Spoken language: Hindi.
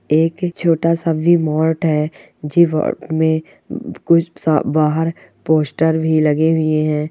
एक छोटा-सा वि मार्ट है जिमरत में कुछ बाहर पोस्टर भी लगे हुए हैं।